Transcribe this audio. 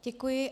Děkuji.